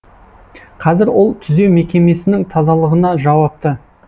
қазір ол түзеу мекемесінің тазалығына жауапты